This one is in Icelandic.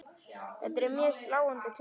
Þetta eru mjög sláandi tölur.